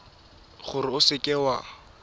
gore o seka w a